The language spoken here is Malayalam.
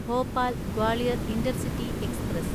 Bhopal Gwalior intercity express